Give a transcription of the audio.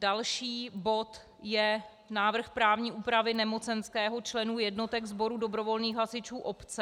Další bod je návrh právní úpravy nemocenského členů jednotek sboru dobrovolných hasičů obce.